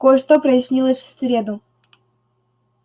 кое-что прояснилось в среду